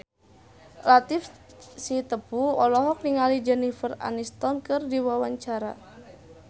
Latief Sitepu olohok ningali Jennifer Aniston keur diwawancara